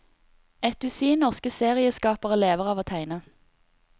Et dusin norske serieskapere lever av å tegne.